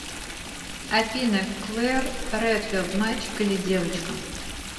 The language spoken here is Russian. афина клэр редфилд мальчик или девочка